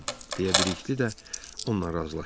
deyə Bilikli də onunla razılaşdı.